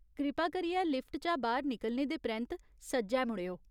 कृपा करियै लिफ्ट चा बाह्‌र निकलने दे परैंत्त सज्जै मुड़ेओ।